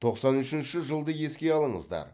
тоқсан үшінші жылды еске алыңыздар